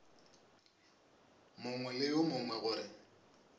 mongwe le yo mongwe gore